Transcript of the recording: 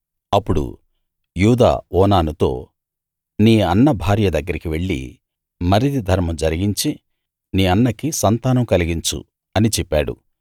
అప్పుడు యూదా ఓనానుతో నీ అన్నభార్య దగ్గరికి వెళ్ళి మరిది ధర్మం జరిగించి నీ అన్నకి సంతానం కలిగించు అని చెప్పాడు